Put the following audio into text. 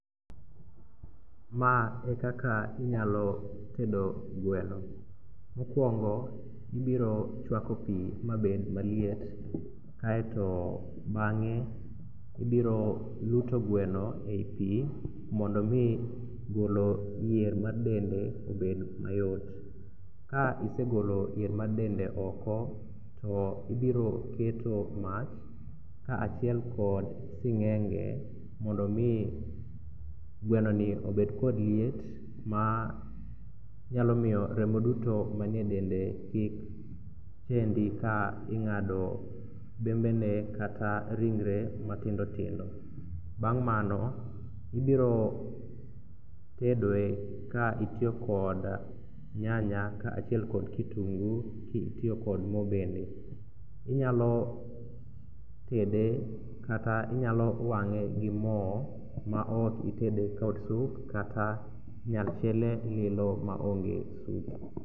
Ma ekaka inyalo tedo gweno. Mokwongo ibiro chwako pi mabed maliet kaeto bang'e ibiro luto gweno e i pi mondo omi golo yier mar dende obed mayot. Ka isegolo yier mar dende oko to ibiroketo mach kaachiel kod sing'enge mondo omi gwenoni obed kod liet manyalo miyo remo duto manie dende kik chendi ka ing'ado bembene kata ringre matindotindo. Bang' mano ibirotedoe ka itiyo kod nyanya kaachiel kod kitungu kitiyo kod mo bende. Inyalo tede kata inyalo wang'e gi mo ma okitede kod sup kata inyal chiele lilo maonge sup.